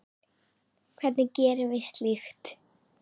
Hvernig gerum við slíkt?